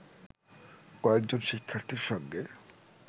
কয়েকজন শিক্ষার্থীর সঙ্গে